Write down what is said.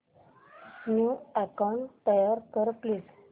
new account तयार कर please